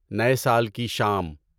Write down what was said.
نئے سال کی شام